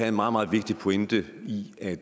en meget meget vigtig pointe i at